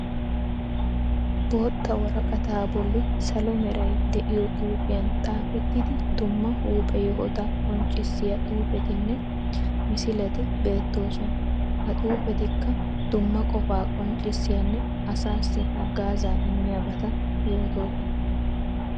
Bootta woraqataa bolli salo meray de'iyo xuufiyan xaafettidi dumma huuphe yohota qonccissiya xuufetinne misileti beettoosona. Ha xuufetikka dumma qofaa qonccissiyanne asaassi hagaazza immiyabata yootoosona.